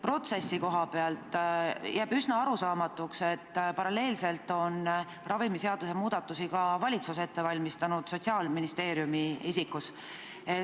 Protsessi koha pealt jääb üsna arusaamatuks, miks on ravimiseaduse muudatusi paralleelselt ette valmistanud ka valitsus, täpsemalt Sotsiaalministeerium.